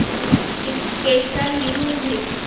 dictation लिहून घे